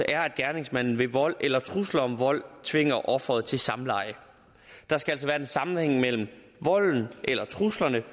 at gerningsmanden ved vold eller trusler om vold tvinger offeret til samleje der skal altså være en sammenhæng mellem volden eller truslerne